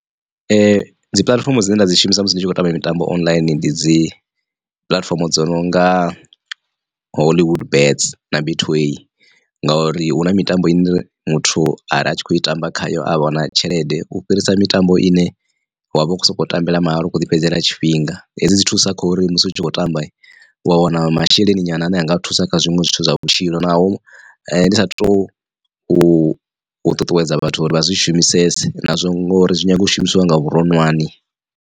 Dzi puḽatifomo dzine nda dzi shumisa musi ndi tshi khou tamba mitambo online ndi dzi puḽatifomo dzo nonga hollywood bets na betway ngori hu na mitambo ine muthu ari atshi kho i tamba khayo a wana tshelede u fhirisa mitambo ine wavha u kho soko tambela mahala u kho ḓi fhedzele tshifhinga. Hedzi dzi thusa kha uri musi u tshi khou tamba u a wana masheleni nyana ane a nga thusa kha zwiṅwe zwithu zwa vhutshilo naho ndi sa tou u ṱuṱuwedza vhathu uri vha zwi shumisese nazwo ngori zwi nyanga u shumisiwa nga vhuronwane.